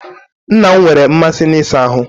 Nna m nwere mmasị na ịsa ahụ́.